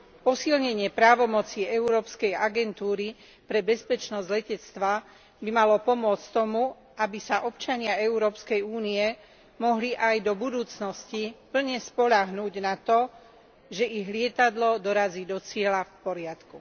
Posilnenie právomoci Európskej agentúry pre bezpečnosť letectva by malo pomôcť tomu, aby sa občania EÚ mohli aj do budúcnosti plne spoľahnúť na to, že ich lietadlo dorazí do cieľa v poriadku.